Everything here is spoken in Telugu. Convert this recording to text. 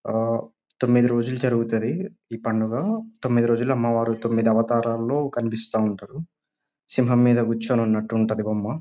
ఆ తొమ్మిది రోజులు జరుగుతది ఈ పండగ. తొమ్మిది రోజులు అమ్మవారు తొమ్మిది అవతారంలో కనిపిస్తాఉంటారు . సింహం మీద కూర్చొని ఉన్నట్టు కనిపిస్తాడు బొమ్మ.